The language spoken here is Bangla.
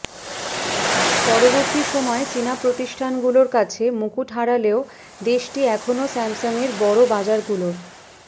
পরবর্তী সময়ে চীনা প্রতিষ্ঠানগুলোর কাছে মুকুট হারালেও দেশটি এখনো স্যামসাংয়ের বড় বাজারগুলোর